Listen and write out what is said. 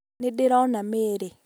nĩndĩrona mĩri